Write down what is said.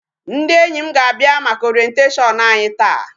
Ndị enyi m ga-abịa maka Orientation anyị taa.